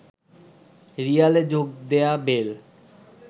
রিয়ালে যোগ দেয়া বেল